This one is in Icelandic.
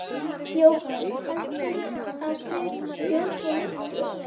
Jóhann: Heldurðu að þeir stjórni miklu?